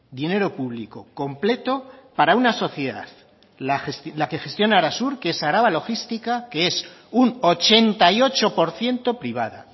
dinero público completo para una sociedad la que gestiona arasur que es araba logística que es un ochenta y ocho por ciento privada